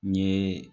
N ɲe